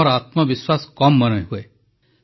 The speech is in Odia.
ଆମର ଆତ୍ମବିଶ୍ୱାସ କମ୍ ମନେହୁଏ